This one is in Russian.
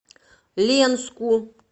ленску